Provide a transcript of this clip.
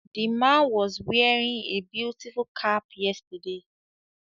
The man was wearing a beautiful cap yesterday